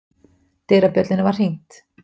Dyrabjöllunni var hringt.